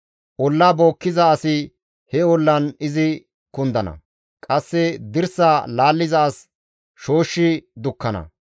Olla bookkiza asi he ollan izi kundana; qasse dirsa laalliza as shooshshi dukkana.